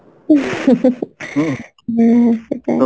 হ্যাঁ সেটাই